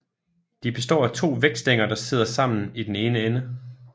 De består af to vægtstænger der sidder sammen i den ene ende